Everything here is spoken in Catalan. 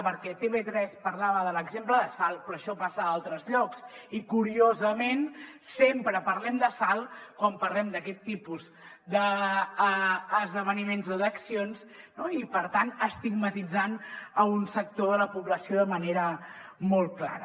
perquè tv3 parlava de l’exemple de salt però això passa a altres llocs i curiosament sempre parlem de salt quan parlem d’aquest tipus d’esdeveniments o d’accions i per tant estigmatitzant un sector de la població de manera molt clara